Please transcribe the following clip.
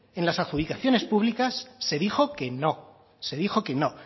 en las adjudicaciones públicas se dijo que no se dijo que no